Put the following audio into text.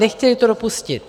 Nechtěli to dopustit.